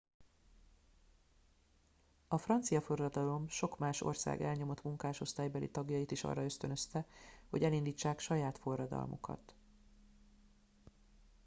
a francia forradalom sok más ország elnyomott munkásosztálybeli tagjait is arra ösztönözte hogy elindítsák saját forradalmukat